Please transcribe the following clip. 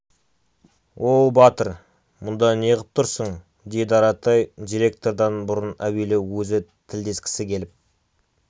оу батыр мұнда неғып тұрсың деді аратай директордан бұрын әуелі өзі тілдескісі келіп